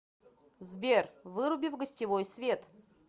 сбер выруби в гостевой свет